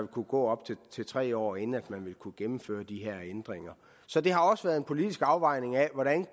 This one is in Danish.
kunne gå op til tre år inden man kunne gennemføre de her ændringer så det har også været en politisk afvejning af hvordan